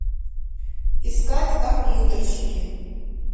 искать компьютерщики